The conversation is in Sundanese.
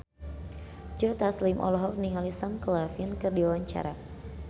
Joe Taslim olohok ningali Sam Claflin keur diwawancara